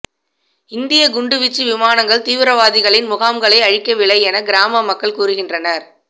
இந்திய குண்டுவீச்சு விமானங்கள் தீவிரவாதிகளின் முகாம்களை அழிக்கவில்லை என கிராம மக்கள் கூறுகின்றனர்